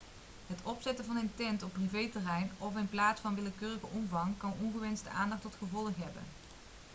het opzetten van een tent op privéterrein of in een plaats van willekeurige omvang kan ongewenste aandacht tot gevolg hebben